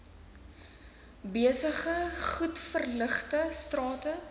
besige goedverligte strate